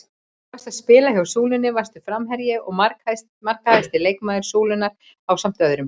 Þegar þú varst að spila hjá Súlunni varstu framherji og markahæsti leikmaður Súlunnar ásamt öðrum?